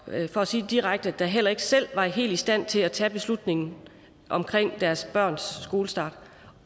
for at sige det direkte heller ikke selv var helt i stand til at tage beslutningen omkring deres børns skolestart